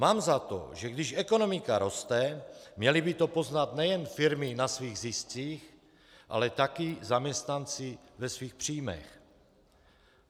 Mám za to, že když ekonomika roste, měly by to poznat nejen firmy na svých ziscích, ale taky zaměstnanci ve svých příjmech.